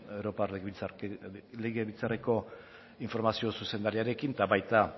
europar batzordearen komunikazio zuzendariarekin eta baita